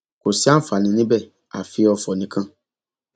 kò sí ààǹfààní níbẹ àfi ọfọ nìkan